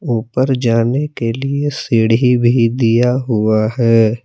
ऊपर जाने के लिए सीढ़ी भी दिया हुआ है।